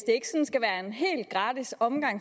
om